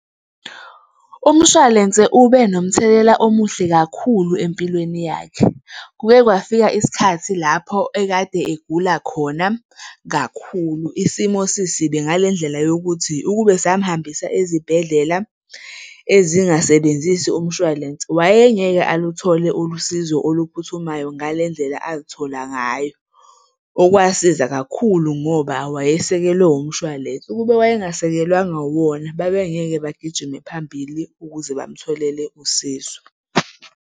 Umshwalense ube nomthelela omuhle kakhulu empilweni yakhe. Kuke kwafika isikhathi lapho ekade egula khona kakhulu, isimo sisibi ngale ndlela yokuthi ukube samhambisa ezibhedlela ezingasebenzisi umshwalense wayengeke aluthole ulusizo oluphuthumayo ngale ndlela aluthola ngayo, okwasiza kakhulu ngoba wayesekelwe umshwalense. Ukube wayengasekelwanga wuwona, babengeke bagijime phambili ukuze bamtholele usizo.